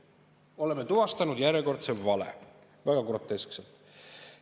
Oleme tuvastanud järjekordse väga groteskse vale.